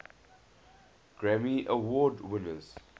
grammy award winners